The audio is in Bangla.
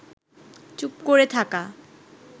চুপ করে থাকা